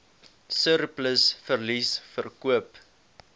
surplus verliese verkoop